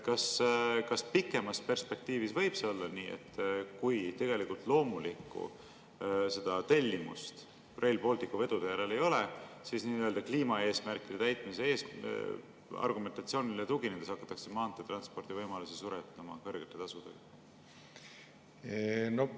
Kas pikemas perspektiivis võib see olla nii, et kui tegelikult loomulikku tellimust Rail Balticu vedude järele ei ole, siis nii-öelda kliimaeesmärkide täitmise argumentatsioonile tuginedes hakatakse maanteetranspordi võimalusi suretama kõrgete tasudega?